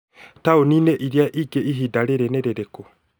taũni-inĩ ĩrĩa ĩngĩ ihinda rĩrĩ nĩ rĩrĩkũ